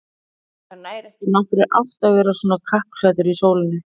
Það nær ekki nokkurri átt að vera svona kappklæddur í sólinni